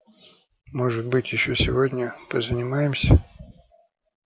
может быть ещё сегодня позанимаемся